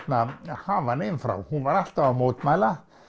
hafa hana inn frá hún var alltaf að mótmæla